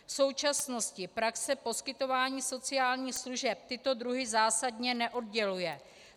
V současnosti praxe poskytování sociálních služeb tyto druhy zásadně neodděluje.